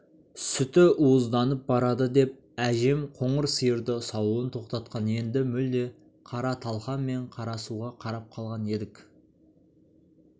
сүті уызданып барады деп әжем қоңыр сиырды саууын тоқтатқан енді мүлде қара талқан мен қара суға қарап қалған едік